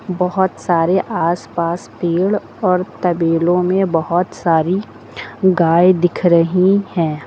बहुत सारे आसपास पेड़ और तबेलों में बहुत सारी गाय दिख रही है।